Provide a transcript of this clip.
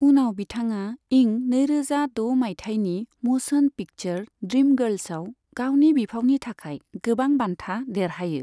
उनाव बिथाङा इं नैरोजा द' माइथायनि म'श'न पिक्चार ड्रीमगार्ल्सआव गावनि बिफावनि थाखाय गोबां बान्था देरहायो।